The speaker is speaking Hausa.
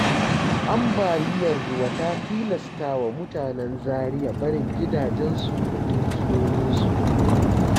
Ambaliyar ruwa ta tilastwa mutanen Zariya barin gidajensu da dukiyoyinsu.